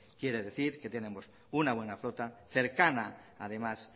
quiere decir que tenemos una buena flota cercana además